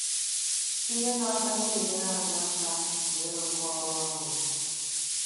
Ihe na - akacha enyere um anyị aka bụ ịrụkọ ọrụ ọnụ.